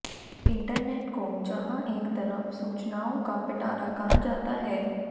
internet को जहां एक तरफ सूचनाओं का पिटारा कहा जाता है